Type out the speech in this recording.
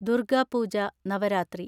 Durga Puja (Navaratri)